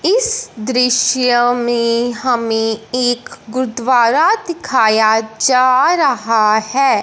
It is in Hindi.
इस दृश्य में हमें एक गुरुद्वारा दिखाया जा रहा है।